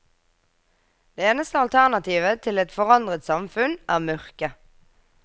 Det eneste alternativet til et forandret samfunn, er mørke.